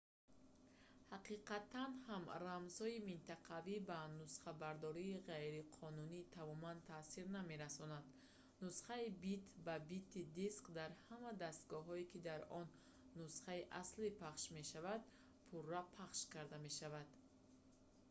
ҳақиқатан ҳам рамзҳои минтақавӣ ба нусхабардории ғайриқонунӣ тамоман таъсир намерасонанд нусхаи бит-ба-бити диск дар ҳама дастгоҳҳое ки дар он нусхаи аслӣ пахш мешавад пурра пахш карда мешавад